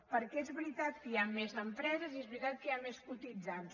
perquè és veritat que hi ha més empreses i és veritat que hi ha més cotitzants